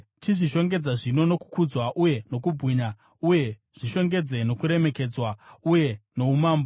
Chizvishongedza zvino nokukudzwa uye nokubwinya, uye zvishongedze nokuremekedzwa uye noumambo.